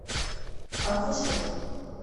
аквашоп